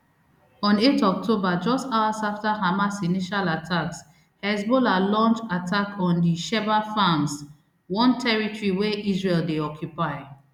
on eight october just hours after hamas initial attacks hezbollah launch attack on di shebaa farms one territory wey israel dey occupy